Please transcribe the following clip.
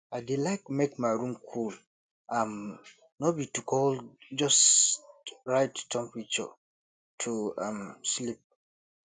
i dey like make my room cool um no be to cold just right temperature to um sleep